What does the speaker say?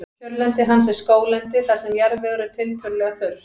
kjörlendi hans er skóglendi þar sem jarðvegur er tiltölulega þurr